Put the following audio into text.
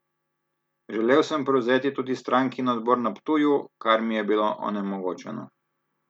Želel sem prevzeti tudi strankin odbor na Ptuju, kar mi je bilo onemogočeno.